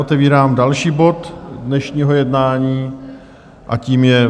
Otevírám další bod dnešního jednání a tím je